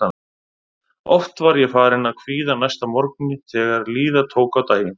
Oft var ég farin að kvíða næsta morgni þegar líða tók á daginn.